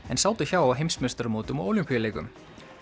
en sátu hjá á heimsmeistaramótum og Ólympíuleikum